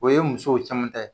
O ye musow caman ta ye.